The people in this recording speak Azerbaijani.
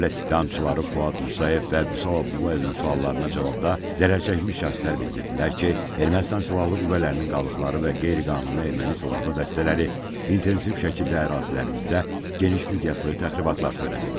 Dövlət ittihamçıları Fuad Musayev və Vüsal Abdullayevin suallarına cavabda zərərçəkmiş şəxslər bildirdilər ki, Ermənistan silahlı qüvvələrinin qalıqları və qeyri-qanuni erməni silahlı dəstələri intensiv şəkildə ərazilərimizdə geniş miqyaslı təxribatlar törədib.